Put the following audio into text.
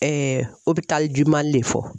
Mali de fɔ.